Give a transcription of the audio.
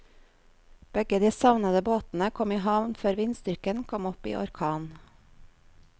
Begge de savnede båtene kom i havn før vindstyrken kom opp i orkan.